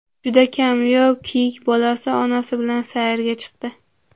Juda kamyob kiyik bolasi onasi bilan sayrga chiqdi.